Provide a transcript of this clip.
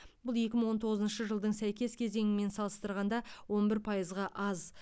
бұл екі мың он тоғызыншы жылдың сәйкес кезеңімен салыстырғанда он бір пайызға аз